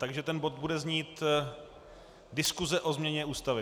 Takže ten bod bude znít - diskuse o změně Ústavy...